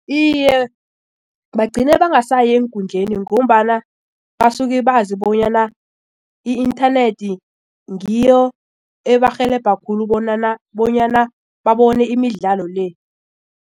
Iye, bagcine bangasayi eenkundleni ngombana basuke bazi bonyana i-inthanethi ngiyo ebarhelebha khulu bonyana babone imidlalo le.